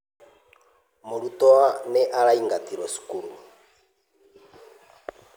Mũrutwo nĩ araingatirũo cukuru.